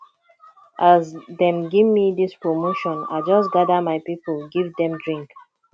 as dem gemme dis promotion i just gather my pipu give dem drink